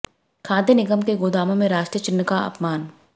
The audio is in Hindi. खाद्य निगम के गोदामों में राष्ट्रीय चिह्न का अपमान